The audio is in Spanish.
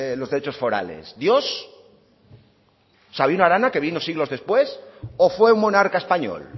los derechos forales dios sabino arana que vino siglos después o fue un monarca español